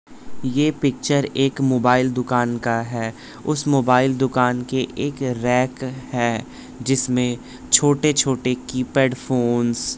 ये पिक्चर एक मोबाइल दुकान का है उस मोबाइल दुकान के एक रैक है जिसमें छोटे-छोटे कीपैड फोंस --